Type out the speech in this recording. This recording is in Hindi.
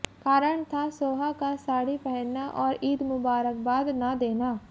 कारण था सोहा का साड़ी पहनना और ईद मुबाकरबाद न देना